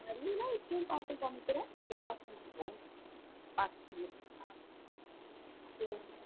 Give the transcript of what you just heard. நல்ல எப்போவும் பாசம் காமிக்கிற அந்த பாசம்